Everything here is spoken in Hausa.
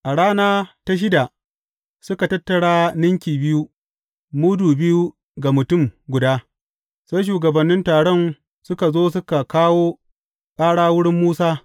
A rana ta shida, suka tattara ninki biyu, mudu biyu ga mutum guda, sai shugabannin taron suka zo suka kawo ƙara wurin Musa.